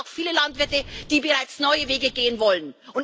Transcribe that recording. Es gibt nämlich auch viele Landwirte, die bereits neue Wege gehen wollen.